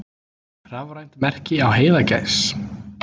Rafrænt merki á heiðagæs.